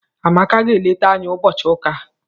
Amaka ga-eleta anyị ụbọchị ụka a.